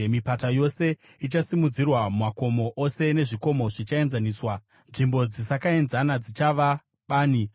Mipata yose ichasimudzirwa, makomo ose nezvikomo zvichaenzaniswa; nzvimbo dzisakaenzana dzichava bani.